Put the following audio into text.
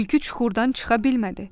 Tülkü çuxurdan çıxa bilmədi.